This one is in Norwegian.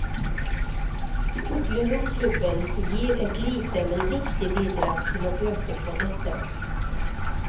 Fuglehundklubben gir et lite, men viktig bidrag til å bøte på dette.